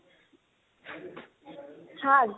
শাক?